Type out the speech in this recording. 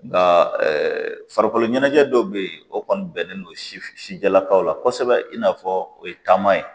Nka farikolo ɲɛnajɛ dɔw bɛ yen o kɔni bɛnnen don sijɛlakaw la kosɛbɛ in n'a fɔ o ye taama ye